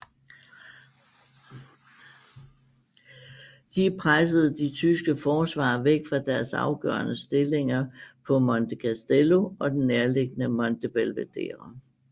De pressede de tyske forsvarere væk fra deres afgørende stillinger på Monte Castello og den nærtliggende Monte Belvedere